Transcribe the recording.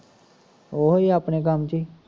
ਓਹੀ ਆਪਣੇ ਕੰਮ ਚ ਈ